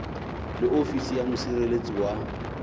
le ofisi ya mosireletsi wa